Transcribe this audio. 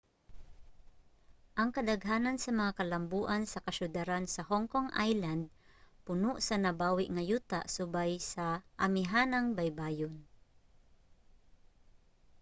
ang kadaghanan sa mga kalamboan sa kasyudaran sa hong kong island puno sa nabawi nga yuta subay sa amihanang baybayon